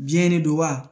Biyɛn de don wa